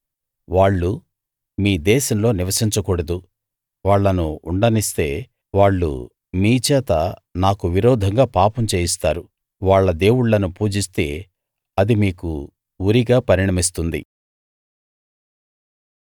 వాళ్ళు మీ దేశంలో నివసించకూడదు వాళ్ళను ఉండనిస్తే వాళ్ళు మీ చేత నాకు విరోధంగా పాపం చేయిస్తారు వాళ్ళ దేవుళ్ళను పూజిస్తే అది మీకు ఉరిగా పరిణమిస్తుంది